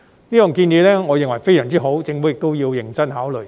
我認為這項建議非常好，政府也要認真考慮。